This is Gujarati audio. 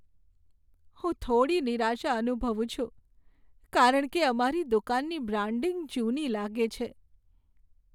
હું થોડી નિરાશા અનુભવું છું, કારણ કે અમારી દુકાનની બ્રાન્ડિંગ જૂની લાગે છે.